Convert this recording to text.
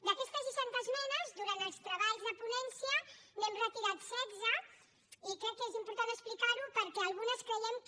d’aquestes seixanta esmenes durant els treballs de ponència n’hem retirat setze i crec que és important explicar ho perquè algunes creiem que